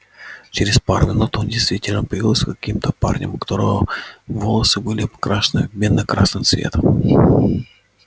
через пару минут он действительно появился с каким-то парнем у которого волосы были покрашены в медно-красный цвет